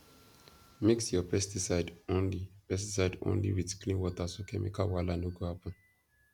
mix your pesticide only pesticide only with clean water so chemical wahala no go happen